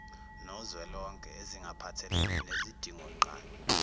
nozwelonke ezingaphathelene nezidingonqangi